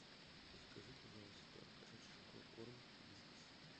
закажи пожалуйста кошачий корм вискас